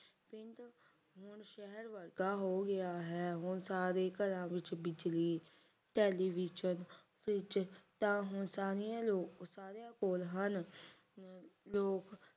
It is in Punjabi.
ਹੁਣ ਸ਼ਹਿਰ ਵਰਗਾ ਹੋ ਗਿਆ ਹੈ ਹੁਣ ਸਾਰੇ ਘਰਾਂ ਵਿੱਚ ਬਿਜਲੀ ਟੈਲੀਵਿਜ਼ਨ ਫਰਾਈਜ਼ ਤਾਂ ਹੁਣ ਤਾਂ ਹੁਣ ਸਾਰਿਆਂ ਕੋਲ ਹਨ ਅਹ ਲੋਗ